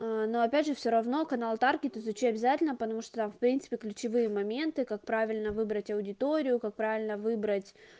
но опять же всё равно канал таркетт изучи обязательно потому что в принципе ключевые моменты как правильно выбрать аудиторию как правильно выбрать